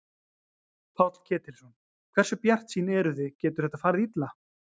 Páll Ketilsson: Hversu bjartsýn eruð þið, getur þetta farið illa?